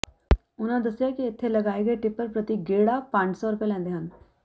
ਉਨ੍ਹਾਂ ਦੱਸਿਆ ਕਿ ਇੱਥੇ ਲਗਾਏ ਗਏ ਟਿੱਪਰ ਪ੍ਰਤੀ ਗੇੜਾ ਪੰਜ ਸੌ ਰੁਪਏ ਲੈਂਦੇ ਹਨ